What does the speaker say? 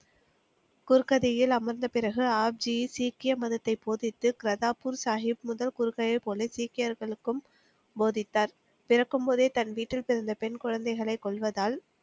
குர்கடியில் அமர்ந்த பிறகு ஆப்ஜி சீக்கிய மதத்தை போதித்து கிராத்பூர் சாஹிப் சீக்கியர்களுக்கும் போதித்தார். பிறக்கும்போதே தன் வீட்டில் பிறந்த பெண் குழந்தைகளை கொல்வதால்